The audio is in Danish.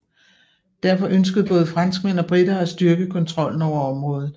Derfor ønskede både franskmænd og briter at styrke kontrollen over området